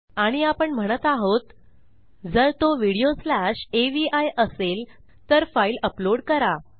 आणि आपण म्हणत आहोत जर तो व्हिडिओ स्लॅश अवी असेल तर फाईल अपलोड करा